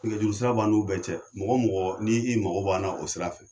Nɛgɛjurusira b'an n'u bɛɛ cɛ, mɔgɔ o mɔgɔ , n' i mago b'an na o sira fɛ.